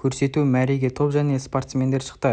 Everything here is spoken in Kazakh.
көрсету мәреге топ және спортсмендер шықты